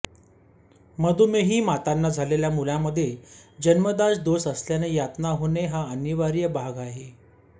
मधुमेही मातांना झालेल्या मुलामध्ये जन्मजात दोष असल्याने यातना होणे हा अनिवार्य भाग आहे